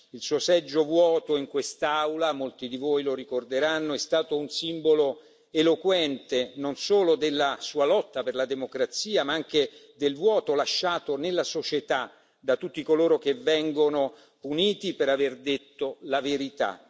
Il suo seggio vuoto in quest'Aula molti di voi lo ricorderanno è stato un simbolo eloquente non solo della sua lotta per la democrazia, ma anche del vuoto lasciato nella società da tutti coloro che vengono puniti per aver detto la verità.